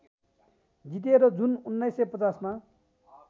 जिते र जुन १९५० मा